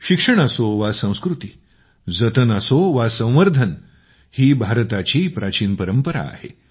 शिक्षण असो वा संस्कृती तिचे जतन असो वा संवर्धन असो ही भारताची प्राचीन परंपरा आहे